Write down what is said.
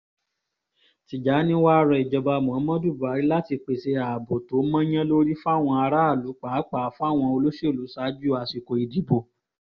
tìjànì wàá rọ ìjọba muhammadu buhari láti pèsè ààbò tó mọ́yán lórí fáwọn aráàlú pàápàá fáwọn olóṣèlú ṣaájú àsìkò ìdìbò